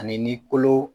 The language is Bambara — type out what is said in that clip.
Ani ni kolo